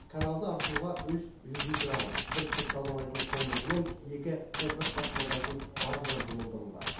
каналды аршуға үш жүзу краны бір түп тазалайтын қондырғы мен екі топырақ тасымалдайтын баржа жұмылдырылды